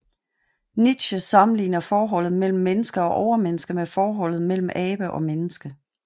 Nietzsche sammenligner forholdet mellem menneske og overmenneske med forholdet mellem abe og menneske